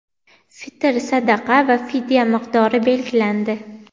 fitr sadaqa va fidya miqdori belgilandi.